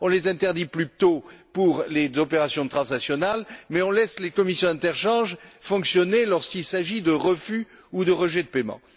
on les interdit plus tôt pour les opérations transnationales mais on laisse les commissions d'interchange fonctionner lorsqu'il s'agit de refus ou de rejet de paiement.